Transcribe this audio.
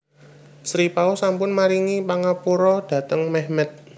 Sri Paus sampun maringi pangapura dhateng Mehmet